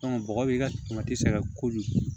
bɔgɔ b'i ka sɛgɛn kojugu